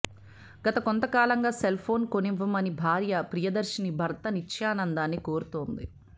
గత కొంతకాలంగా సెల్ఫోన్ కొనివ్వమని భార్య ప్రియదర్శిని భర్త నిత్యానందాన్ని కోరుతోంది